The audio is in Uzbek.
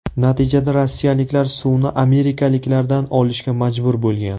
Natijada rossiyaliklar suvni amerikaliklardan olishga majbur bo‘lgan.